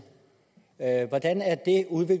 at gå ud at